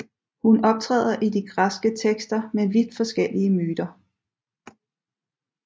Hun optræder i de græske tekster med vidt forskellige myter